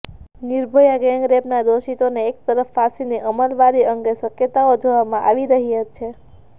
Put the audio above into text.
નિર્ભયા ગેંગરેપના દોષિતોને એક તરફ ફાંસીની અમલવારી અંગે શક્યતાઓ જોવામાં આવી રહી છે